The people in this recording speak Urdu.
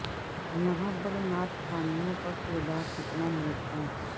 یہاں پر نعت خوانوں کا کردار کتنا نیک ہے